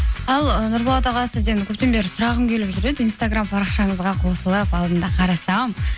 ал ы нұрболат аға сізден көптен бері сұрағым келіп жүр еді инстаграм парақшаңызға қосылып алдында қарасам